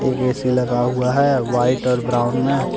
एक ए_सी लगा हुआ है वाइट और ब्राउन में।